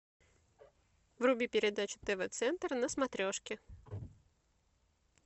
вруби передачу тв центр на смотрешке